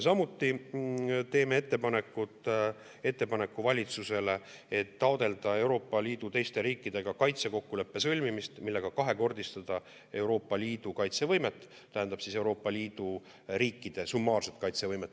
Samuti teeme ettepaneku valitsusele taotleda Euroopa Liidu teiste riikidega kaitsekokkuleppe sõlmimist, millega kahekordistada Euroopa Liidu kaitsevõimet, tähendab siis Euroopa Liidu riikide summaarset kaitsevõimet.